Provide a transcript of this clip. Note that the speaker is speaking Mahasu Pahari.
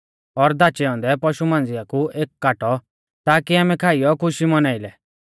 और धाचै औन्दै पशु मांझ़िया कु एक काटौ ताकी आमै खाइयौ खुशी मौनाई लै